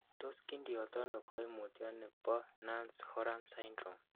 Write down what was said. Tos kindiotono koimutioni bo Nance Horan syndrome?